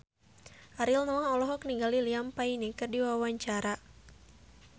Ariel Noah olohok ningali Liam Payne keur diwawancara